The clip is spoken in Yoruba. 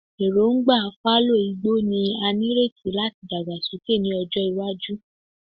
Erongba fallow igbo ni a nireti lati dagbasoke ni ọjọ iwaju